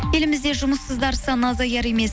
елімізде жұмыссыздар саны азаяр емес